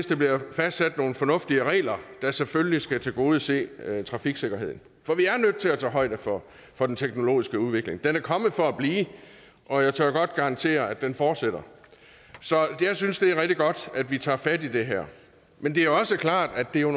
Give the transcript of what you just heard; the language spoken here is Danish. der bliver fastsat nogle fornuftige regler der selvfølgelig skal tilgodese trafiksikkerheden for vi er nødt til at tage højde for for den teknologiske udvikling den er kommet for at blive og jeg tør godt garantere at den fortsætter så jeg synes det er rigtig godt at vi tager fat i det her men det er også klart at det jo